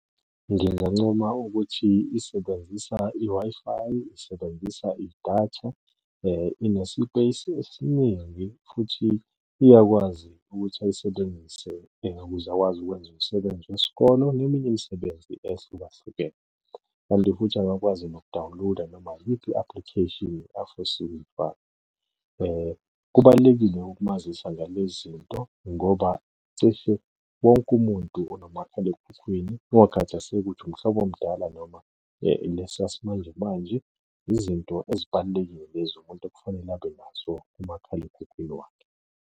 Ngingancoma ukuthi isebenzisa i-Wi-Fi, isebenzisa idatha, inesipeyisi esiningi futhi iyakwazi ukuthi ayisebenzise ukuze akwazi ukwenza umsebenzi wesikolo neminye imisebenzi ehlukahlukene kanti futhi angakwazi noku-download-a noma iyiphi i-application afisa ukuyifaka. Kubalulekile ukumazisa ngale zinto ngoba cishe wonke umuntu unomakhalekhukhwini kungakhathaseki ukuthi umhlobo omdala noma lesi sasimanjemanje. Izinto ezibalulekile lezo umuntu ekufanele abe nazo kumakhalekhukhwini wakhe.